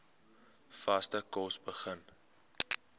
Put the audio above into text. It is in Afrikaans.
vaste kos begin